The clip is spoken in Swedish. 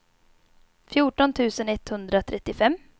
fjorton tusen etthundratrettiofem